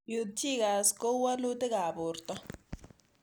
Peutz Jaghers koiu walutik ab porto